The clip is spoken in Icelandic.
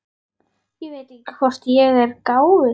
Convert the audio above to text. Ég veit ekki hvort ég er gáfuð.